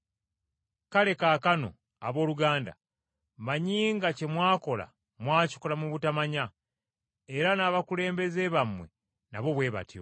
“Kale kaakano, abooluganda, mmanyi nga kye mwakola mwakikola mu butamanya, era n’abakulembeze bammwe nabo bwe batyo.